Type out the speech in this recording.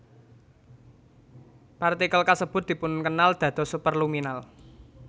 Partikel kasebut dipunkenal dados superluminal